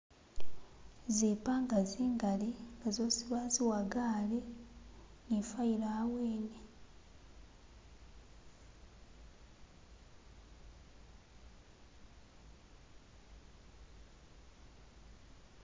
Zipanga zingali nga zosi baziwagale ni file awene